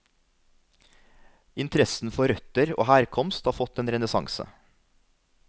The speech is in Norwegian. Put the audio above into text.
Interessen for røtter og herkomst har fått en renessanse.